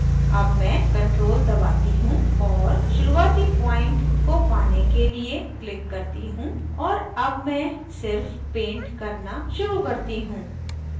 अब मैं ctrl दबाती हूँ और शुरूआती point को पाने के लिए click करती हूँ और अब मैं सिर्फ paint करना शुरू करती हूँ